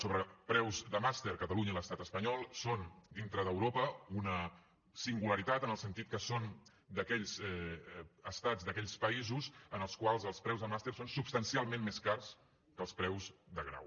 sobre preus de màster catalunya i l’estat espanyol són dintre d’europa una singularitat en el sentit que són d’aquells estats d’aquells països en els quals els preus dels màsters són substancialment més cars que els preus de grau